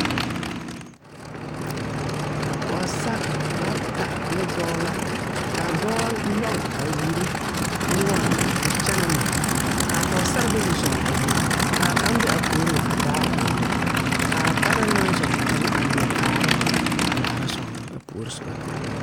pogesar bata ne doɔ la. Kaa doɔ yoge a wure nuore a kyena ne ka pogesar bayi a zɔŋ a wure. Kaa kang be a puoreŋ a daara a wure. Kaa bana naŋ zɔŋ kang a liɛ kaaro a laara sogro a puore subana